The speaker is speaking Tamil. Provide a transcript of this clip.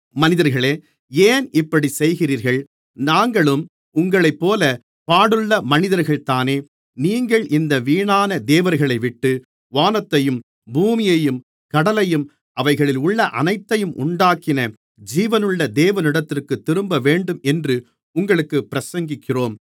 மனிதர்களே ஏன் இப்படிச் செய்கிறீர்கள் நாங்களும் உங்களைப்போலப் பாடுள்ள மனிதர்கள் தானே நீங்கள் இந்த வீணான தேவர்களைவிட்டு வானத்தையும் பூமியையும் கடலையும் அவைகளிலுள்ள அனைத்தையும் உண்டாக்கின ஜீவனுள்ள தேவனிடத்திற்கு திரும்பவேண்டும் என்று உங்களுக்குப் பிரசங்கிக்கிறோம்